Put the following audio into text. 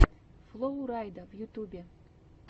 флоу райда в ютубе